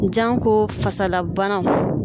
Janko fasalabanaw.